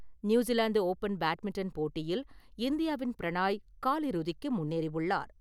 New Zealand open badminton போட்டியில் இந்தியாவின் பிரணாய் காலிறுதிக்கு முன்னேறி உள்ளார் .